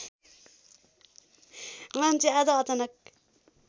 मान्छे आज अचानक